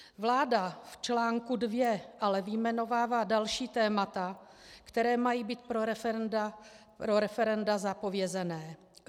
Vláda v článku 2 ale vyjmenovává další témata, která mají být pro referenda zapovězena.